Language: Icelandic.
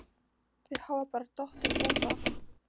Þau hafa bara dottið út af